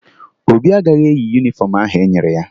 Obi agaghị eyi yunifọmụ ahụ e nyere ya